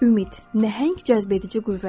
Ümid, nəhəng cəzbedici qüvvədir.